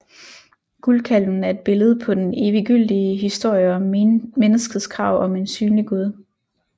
Guldkalven er et billede på den eviggyldige historie om menneskets krav om en synlig Gud